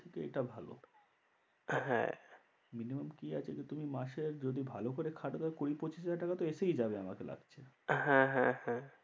থেকে এটা ভালো। হ্যাঁ minimum কি আছে যে তুমি মাসে যদি ভালো করে খাটো তাহলে কুড়ি পঁচিশ হাজার টাকা তো এসেই যাবে আমাকে লাগছে। হ্যাঁ হ্যাঁ হ্যাঁ